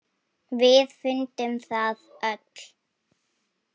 Við fundum það öll.